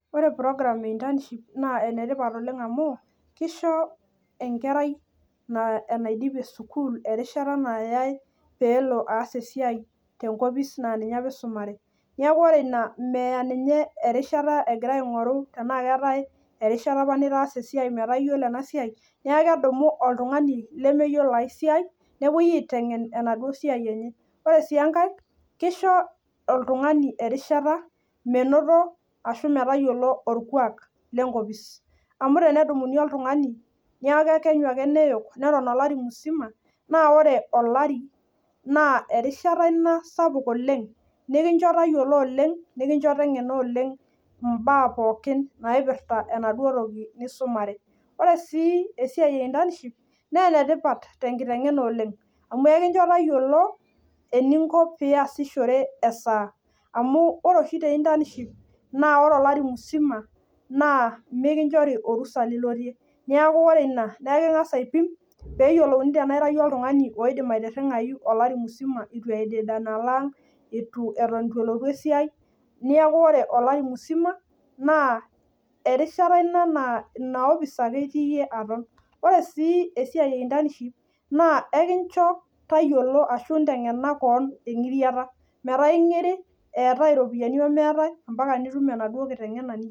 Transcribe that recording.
Ore program internship naa enetipat oleng amu kisho enkerai naa enaidipie sukuul erishata nalo aas esiai apa naisumare, neeku ore ina meya erishata pee etum esiai, ore sii enkae kesho oltungani erishata metayiolo esiai orkasi. Ore pee eas oltungani nejia naa ketum orkuak sidai amu keyiolou baa sidan teneas neret ina ninye naleng.